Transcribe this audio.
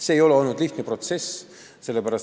See ei ole olnud lihtne protsess.